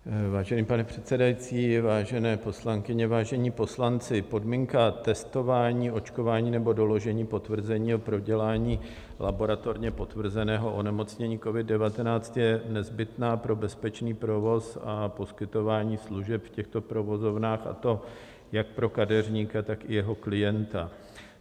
Vážený pane předsedající, vážené poslankyně, vážení poslanci, podmínka testování, očkování nebo doložení potvrzení o prodělání laboratorně potvrzeného onemocnění COVID-19 je nezbytná pro bezpečný provoz a poskytování služeb v těchto provozovnách, a to jak pro kadeřníka, tak i jeho klienta.